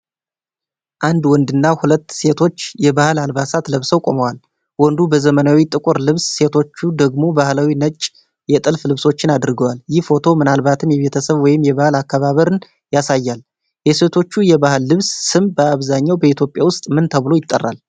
አንድ ወንድና ሁለት ሴቶች የባህል አልባሳት ለብሰው ቆመዋል። ወንዱ በዘመናዊ ጥቁር ልብስ፣ ሴቶቹ ደግሞ ባህላዊ ነጭ የጥልፍ ልብሶችን አድርገዋል። ይህ ፎቶ ምናልባትም የቤተሰብ ወይም የበዓል አከባበርን ያሳያል። የሴቶቹ የባህል ልብስ ስም በአብዛኛው በኢትዮጵያ ውስጥ ምን ተብሎ ይጠራል?